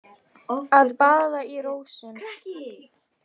Að baða í rósum